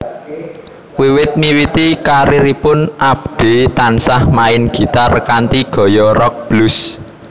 Wiwit miwiti karieripun Abdee tansah main gitar kanthi gaya rock blues